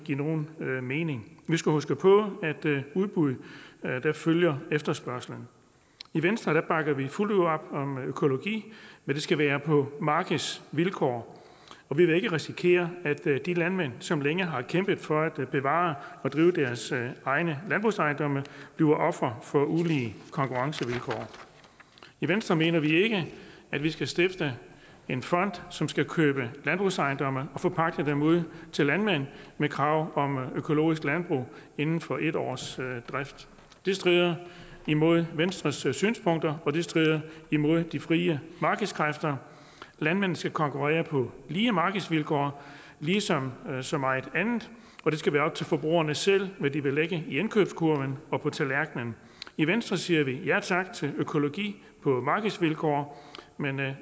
give nogen mening vi skal huske på at af udbud følger efterspørgslen i venstre bakker vi fuldt ud op om økologi men det skal være på markedsvilkår og vi vil ikke risikere at de landmænd som længe har kæmpet for at bevare og drive deres egne landbrugsejendomme bliver ofre for ulige konkurrencevilkår i venstre mener vi ikke at vi skal stifte en fond som skal købe landbrugsejendomme og forpagte dem ud til landmænd med krav om økologisk landbrug inden for en års drift det strider imod venstres synspunkter og det strider imod de frie markedskræfter landmænd skal konkurrere på lige markedsvilkår ligesom med så meget andet og det skal være op til forbrugerne selv hvad de vil lægge i indkøbskurven og på tallerkenen i venstre siger vi ja tak til økologi på markedsvilkår men